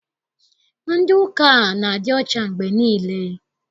Ndị ụka a na-adị ọcha mgbe niile.